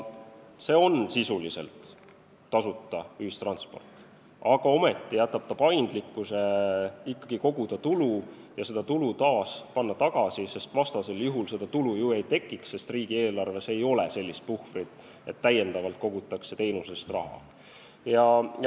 See on sisuliselt tasuta ühistransport, aga ometi jätab ta paindlikkuse ikkagi koguda tulu ja suunata seda tagasi, sest vastasel juhul tulu ju ei tekiks, kuna riigieelarves ei ole sellist puhvrit, et täiendavalt kogutakse teenuse eest raha.